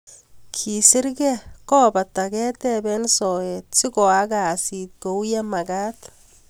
Kesir gee kobata ketepen soet sikooak kasit kou ye magat.